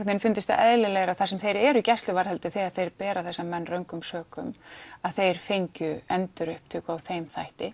vegin fundist það eðlilegra þar sem þeir eru í gæsluvarðhaldi þegar þeir bera þessa menn röngum sökum að þeir fengju endurupptöku á þeim þætti